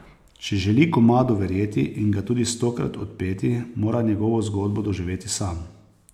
Če želi komadu verjeti in ga tudi stokrat odpeti, mora njegovo zgodbo doživeti sam.